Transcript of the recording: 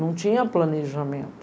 Não tinha planejamento.